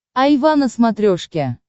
айва на смотрешке